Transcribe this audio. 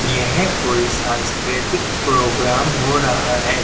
यह कोई सांस्कृतिक प्रोग्राम हो रहा है।